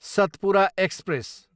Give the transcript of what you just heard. Satpura express